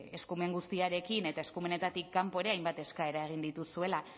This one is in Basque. eskumen guztiarekin eta eskumenetatik kanpo ere hainbat eskaera egin dituzuela